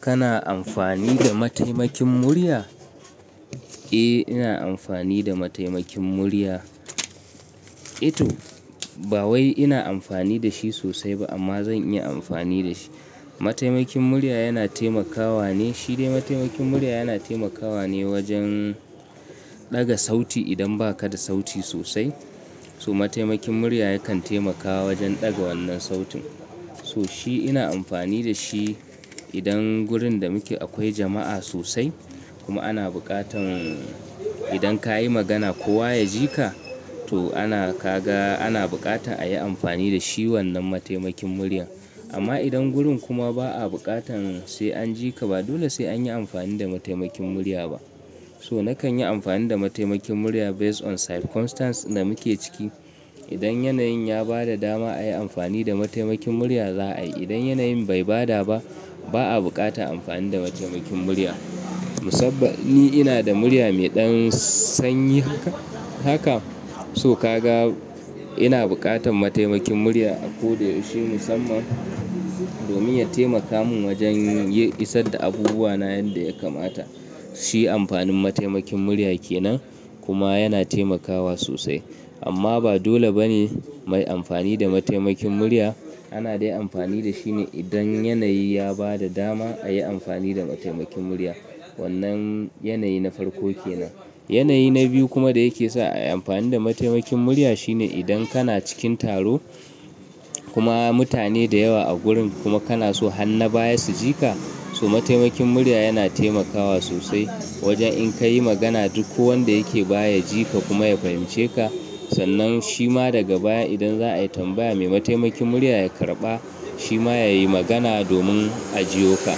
Kana amfani da mataimakin murya? Eh, ina amfani da mataimakin murya. Ito, ba wai ina amfani da shi sosai ba amma zan iya amfani da shi. Mataimakin murya yana taimakawa ne, shi dai mataimakin murya yana taimakawa ne wajen daga sauti idan ba ka da sauti sosai. So mataimakin murya yakan taimakawa wajen daga wannan sautin. So shi ina amfani da shi idan wurin da muke akwai jama'a sosai kuma ana buƙatan idan ka yi magana kowa ya ji ka. To ana, ka ga ana bukata a yi amfani da shi wannan mataimakin murya. Amma idan gurin kuma ba a buƙatan sai an ji ka ba dole sai an yi amfani da mataimakin murya ba. So nakan yi amfani da mataimakin murya based on circumstance da muke ciki. Idan yanayin ya bada dama a yi amfani da mataimakin murya za'a yi. Idan yanayin bai bada ba, ba a bukata amfani da mataimakin murya. Musamman ina da murya mai ɗan sanyi haka. Haka, so ka ga ina buƙatan mataimakin murya a koda yaushe musamman domin ya taimaka min wajen isar da abubuwa na yadda ya kamata. Shi amfanin mataimakin murya kenan kuma yana taimakawa sosai. Amma ba dole bane mai amfani da mataimakin murya. Ana dai amfani da shi ne idan yanayi ya bada dama a yi amfani da mataimakin murya. Wannan yanayi na farko kenan. Yanayi na biyu kuma da yake sa a yi amfani da mataimakin murya shine idan kana cikin taro kuma mutane da yawa a gurin kuma kana so hanna baya su ji ka. So mataimakin murya yana taimakawa sosai wajen in ka yi magana duk wanda yake baya ya ji ka kuma ya fahimce ka. Sannan shi ma daga baya idan za'a yi tambaya mai mataimakin murya ya karɓa shi ma ya yi magana domin a ji yo ka.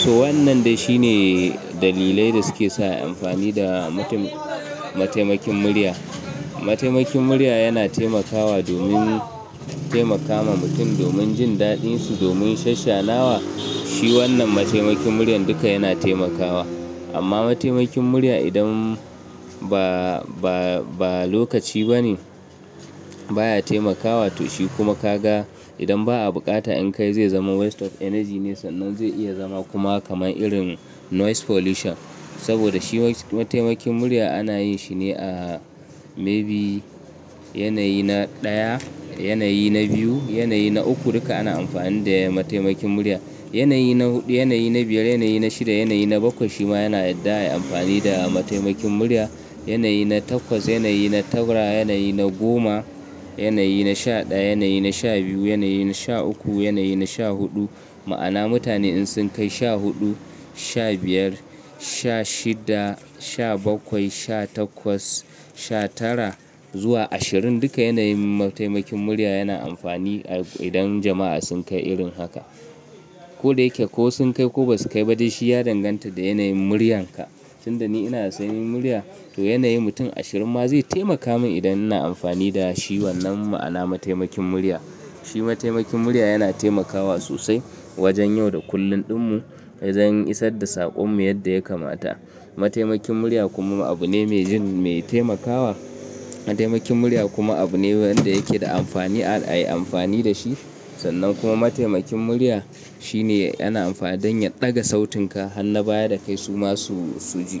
So wannan da shi ne dalilai da suke sa a yi amfani da mataimakin murya. Mataimakin murya yana taimakawa domin taimaka ma mutum domin jin daɗin su, domin shasshenawa. Shi wannan mataimakin muryan duka yana taimakawa. Amma mataimakin murya idan ba, ba, ba lokaci bane baya taimakawa to shi kuma ka ga idan ba a bukata in ka yi zai zama waste of energy ne sannan zai iya zama kuma kamar irin noise pollution. Saboda shi mataimakin murya ana yin shi ne a maybe yanayi na ɗaya, yanayi na biyu, yanayi na uku, duka ana amfani da mataimakin murya. Yanayi na huɗu, yanayi na biyar, yanayi na shida, yanayi na bakwai shi ma yana yadda a yi amfani da mataimakin murya. Yanayi na takwas, yanayi na tara, yanayi na goma, yanayi na sha ɗaya, yanayi na sha biyu, yanayi na sha uku, yanayi na sha huɗu. Ma'ana mutane in sun kai sha huɗu, sha biyar, sha shida, sha bakwai, sha takwas, sha tara zuwa ashirin duka yanayin mataimakin murya yana amfani idan jama'a sun kai irin haka. Ko da yake ko sun kai ko ba su kai ba dai shi ya danganta da yanayin muryan ka. Tun da ni ina da sanyi murya to yanayi mutum ashirin ma zai taimaka min idan ina amfani da shi wannan ma'ana mataimakin murya. Shi mataimakin murya yana taimakawa sosai wajen yau da kullum ɗinmu, don isar da saƙonmu yadda ya kamata. Mataimakin murya kuma abu ne mai jin, mai taimakawa. Mataimakin murya kuma abu ne wanda yake da amfani a yi amfani da shi. Sannan kuma mataimakin murya shi ne yana amfani don ya ɗaga sautin ka hanna baya da kai su ma su, su ji.